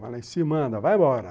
Falei, se manda, vai embora.